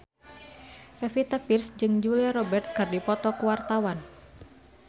Pevita Pearce jeung Julia Robert keur dipoto ku wartawan